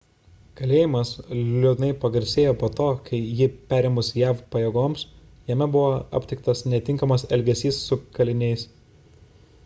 kalėjimas liūdnai pagarsėjo po to kai jį perėmus jav pajėgoms jame buvo aptiktas netinkamas elgesys su kaliniais